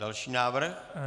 Další návrh.